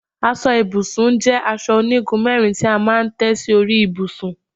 Aso ibùsùn jé aso onigun mérin ti a maa n té si ori ibusun